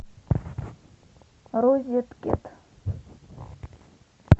розеткед